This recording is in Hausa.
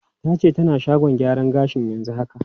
Ta ce tana shagon gyaran gashi yanzu haka.